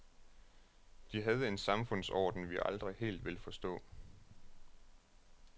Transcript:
De havde en samfundsorden, vi aldrig helt vil forstå.